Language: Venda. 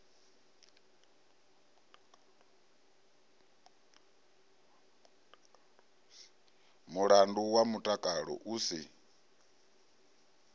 mulandu wa mutakalo u si